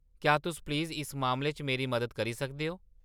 क्या तुस प्लीज़ इस मामले च मेरी मदद करी सकदे ओ ?